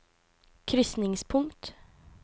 krysningspunkt